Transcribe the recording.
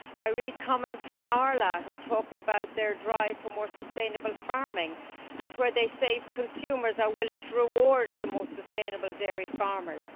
I read comments from Arla, who talk about their drive for more sustainable farming, where they say that consumers are willing to reward the most sustainable dairy farmers.